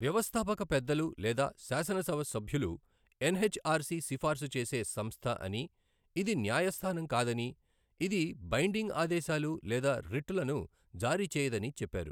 వ్యవస్థాపక పెద్దలు లేదా శాసనసభ సభ్యులు ఎన్ హెచ్ ఆర్ సి సిఫార్సు చేసే సంస్థ అని ఇది న్యాయస్థానం కాదని ఇది బైండింగ్ ఆదేశాలు లేదా రిట్ లను జారి చేయదని చెప్పారు.